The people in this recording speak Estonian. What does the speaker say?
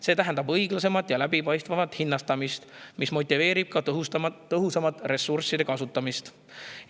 See tähendab õiglasemat ja läbipaistvamat hinnastamist, mis motiveerib ka tõhusamat ressursside kasutamist.